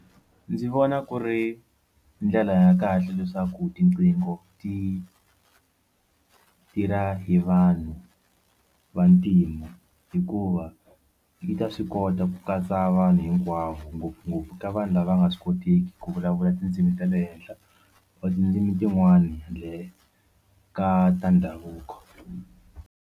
Ndzi vona ku ri ndlela ya kahle leswaku tiqingho ti tirha hi vanhu vantima hikuva ti ta swi kota ku katsa vanhu hikwavo ngopfungopfu ka vanhu lava nga swi koteki ku vulavula tindzimi ta le henhla or tindzimi tin'wana handle ka ta ndhavuko.